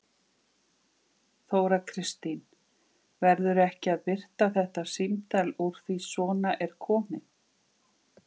Þóra Kristín: Verður ekki að birta þetta símtal úr því svona er komið?